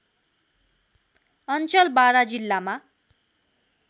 अञ्चल बारा जिल्लामा